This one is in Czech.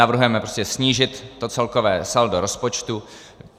Navrhujeme prostě snížit to celkové saldo rozpočtu.